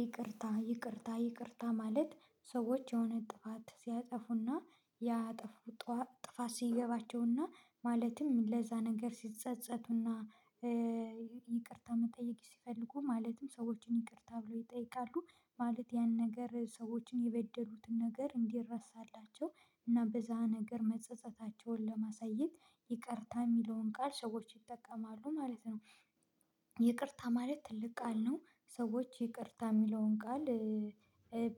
ይቅርታ ይቅርታ ይቅርታ ማለት ሰዎች የሆነ ጥፋት ሲያጠፉና ያጠፉት ጥፋት ሲገባቸውና ማለትም ለዛ ነገር ሲጸጸቱና ይቅርታ መጠየቅ ሲፈልጉ ማለትም ሰዎችን ይቅርታ ብለው ይጠይቃሉ ማለት ያን ነገር ሰዎችን የበደሉትን ነገር እንዲረሳላቸው እና በዛ ነገር መጸጸታቸውን ለማሳየት ይቅርታ የሚለውን ቃል ሰዎች ይጠቀማሉ ማለት ነው። ይቅርታ ማለት ትልቅ ቃል ነው። ሰዎች ይቅርታ የሚለውን ቃል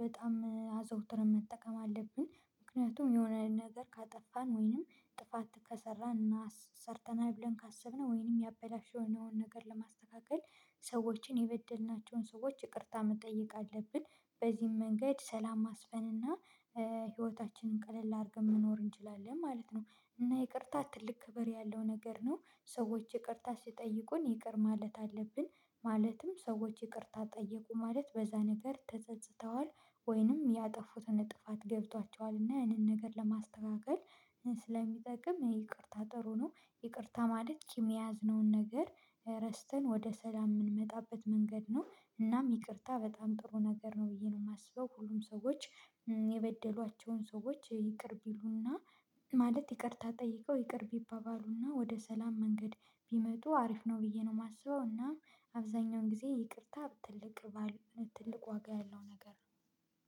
በጣም አዘውትረን መጠቀም አለብን። ምክንያቱም የሆነ ነገር ካጠፋን ወይንም ጥፋት ከሰራን እና ሰርተናል ብለን ካሰብነው ወይንም ያበላሽነውን ነገር ለማስተካከል ሰዎችን የበደልናቸውን ሰዎች ይቅርታ መጠየቅ አለብን። በዚህም መንገድ ሰላም ማስፈን እና ህይወታችንን ቀለል አድርገን መኖር እንችላለን ማለት ነው። እና ይቅርታ ትልቅ ክብር ያለው ነገር ነው ሰዎች ይቅርታ ሲጠይቁን ይቅር ማለት አለብን። ማለትም ሰዎች ይቅርታ ጠየቁ ማለት በዛ ነገር ተጸጽተዋል ወይንም ያጠፉትን ጥፋት ገብቷቸዋል እና ያንን ነገር ለማስተካከል ስለሚጠቅም ይቅርታ ጥሩ ነው። ይቅርታ ማለት ቂም የያዝነውን ነገር ረስተን ወደ ሰላም የምንመጣበት መንገድ ነው እናም ይቅርታ በጣም ጥሩ ነገር ነው ብዬ ነው የማስበው። ሁሉም ሰዎች የበደሏቸውን ሰዎች ይቅር ቢሉና ማለት ይቅርታ ጠይቀው ይቅር ቢባባሉና ወደ ሰላም መንገድ ቢመጡ አሪፍ ነው ብዬ ነው የማስበው። እና አብዛኛውን ጊዜ ይቅርታ ትልቅ ትልቅ ዋጋ ያለው ነገር